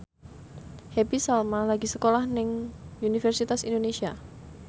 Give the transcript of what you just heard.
Happy Salma lagi sekolah nang Universitas Indonesia